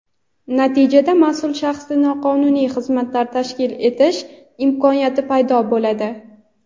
Natijada mas’ul shaxsda noqonuniy xizmatlar tashkil etish imkoniyati paydo bo‘ladi.